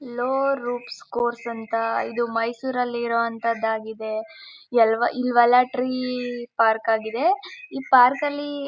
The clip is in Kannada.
ಲೋ ರೂಪ್ಸ್ ಸ್ಕೋರ್ಸ್ ಅಂತ ಇದು ಮೈಸೂರಲ್ಲಿ ಇರೋವಂಥದ್ದಾಗಿದೆ ಇವೆಲ್ಲ ಟ್ರೀ ಪಾರ್ಕ್ ಆಗಿದೆ ಈ ಪಾರ್ಕ್ ಅಲ್ಲಿ-